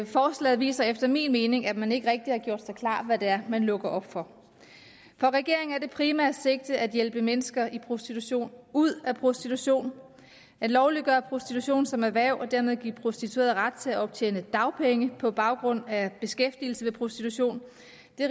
forslaget viser efter min mening at man ikke rigtig har gjort sig klart hvad det er man lukker op for for regeringen er det primært sigtet at hjælpe mennesker i prostitution ud af prostitution at lovliggøre prostitution som erhverv og dermed give prostituerede ret til at optjene dagpenge på baggrund af beskæftigelse ved prostitution